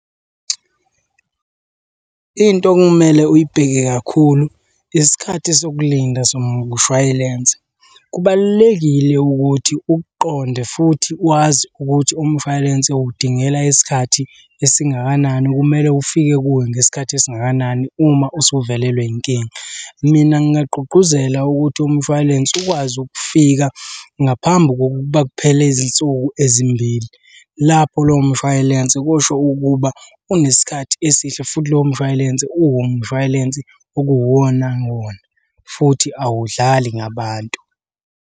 Into okumele uyibheke kakhulu isikhathi sokulinda somshwayilense, kubalulekile ukuthi ukuqonde futhi wazi ukuthi umshwalense uwudingela isikhathi esingakanani, kumele ufike kuwe ngesikhathi esingakanani uma usuvelelwe inkinga. Mina ngingagqugquzela ukuthi umshwalense ukwazi ukufika ngaphambi kokuba kuphela izinsuku ezimbili. Lapho lowo mshwalense kusho ukuba unesikhathi esihle futhi lowo mshwalense uwumshway'lensi okuwu wona wona, futhi awudlali ngabantu.